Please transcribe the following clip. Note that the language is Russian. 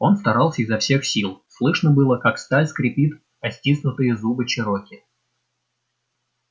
он старался изо всех сил слышно было как сталь скрипит о стиснутые зубы чероки